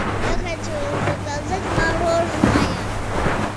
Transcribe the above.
я хочу заказать мороженое